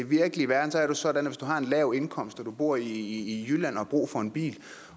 virkelige verden er det sådan at hvis du har en lav indkomst og du bor i jylland og har brug for en bil